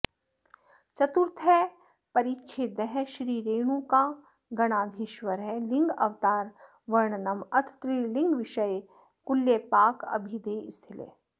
चतुर्थ परिच्छेदः श्री रेणुकागणाधीश्वर लिङ्गावतार वर्णनं अथ त्रिलिङ्गविषये कुल्यपाकाभिदे स्थले